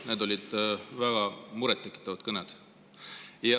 Need olid väga murettekitavad kõned.